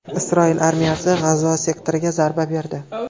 Isroil armiyasi G‘azo sektoriga zarba berdi.